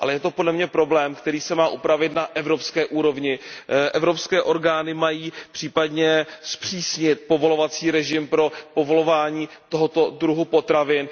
Ale je to podle mě problém, který se má upravit na evropské úrovni. Evropské orgány mají případně zpřísnit režim pro povolování tohoto druhu potravin.